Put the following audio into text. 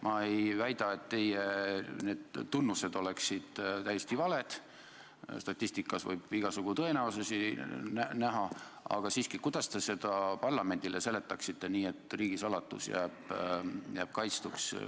Ma ei väida, et teie tunnused oleksid täiesti valed, statistikas võib igasugu tõenäosusi näha, aga siiski: kuidas te seda parlamendile seletaksite nii, et riigisaladus jääb kaitstuks?